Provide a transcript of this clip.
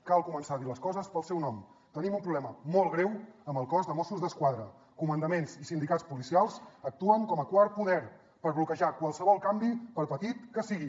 cal començar a dir les coses pel seu nom tenim un problema molt greu amb el cos de mossos d’esquadra comandaments i sindicats policials actuen com a quart poder per bloquejar qualsevol canvi per petit que sigui